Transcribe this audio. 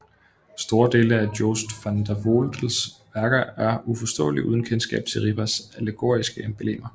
Store dele af Joost van den Vondels værker er uforståelige uden kendskab til Ripas allegoriske emblemer